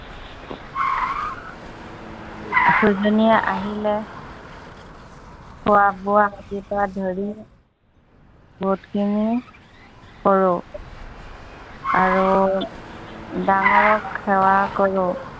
খোৱা-বোৱা আদিকে ধৰি বহুতখিনি, কৰো। আৰু ডাঙৰক সেৱা কৰো।